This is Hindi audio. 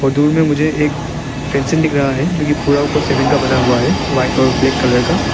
दूर में मुझे एक फेंसिंग दिख रहा है जो कि जो कि पूरा ऊपर सीमेंट का बना हुआ है व्हाइट और ब्लैक कलर का।